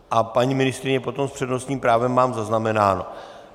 A paní ministryně potom s přednostním právem - mám zaznamenáno.